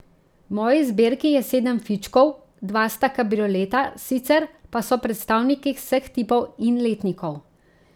V moji zbirki je sedem fičkov, dva sta kabrioleta, sicer pa so predstavniki vseh tipov in letnikov.